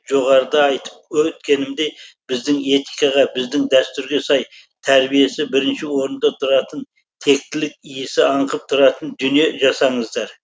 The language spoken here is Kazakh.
жоғарыда айтып өткенімдей біздің этикаға біздің дәстүрге сай тәрбиесі бірінші орында тұратын тектілік иісі аңқып тұратын дүние жасаңыздар